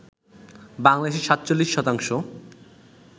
বাংলাদেশের ৪৭ শতাংশ